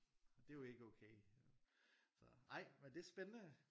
Og det jo ikke okay så nej men det er spændende